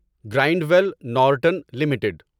grind well Norton limited